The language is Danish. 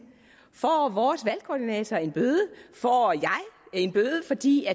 får vores valgkoordinator en bøde får jeg en bøde fordi